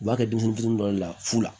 U b'a kɛ dumuni duguni dɔ de la fu la